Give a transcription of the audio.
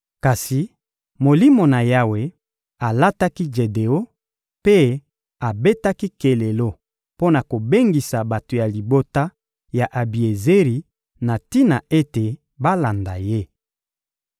Kasi Molimo na Yawe alataki Jedeon, mpe abetaki kelelo mpo na kobengisa bato ya libota ya Abiezeri na tina ete balanda ye.